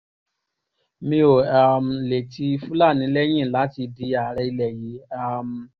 mi ò um lè ti fúlàní lẹ́yìn láti di ààrẹ ilẹ̀ yìí um